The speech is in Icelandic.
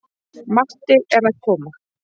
Matti er að koma!